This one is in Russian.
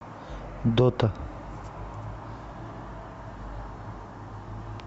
дота